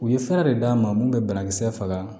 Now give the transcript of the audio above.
U ye fɛɛrɛ de d'a ma mun bɛ banakisɛ faga